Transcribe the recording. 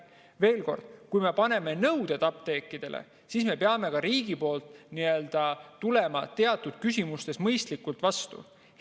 Veel kord: kui me kehtestame apteekidele nõuded, siis peab riik tulema teatud küsimustes ka mõistlikult vastu.